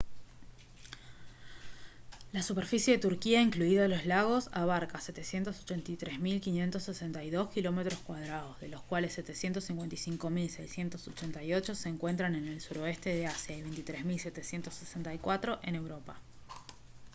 la superficie de turquía incluidos los lagos abarca 783.562 kilómetros cuadrados de los cuales 755.688 se encuentran en el suroeste de asia y 23.764 en europa